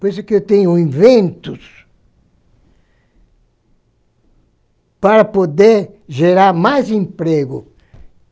Por isso que eu tenho inventos para poder gerar mais emprego.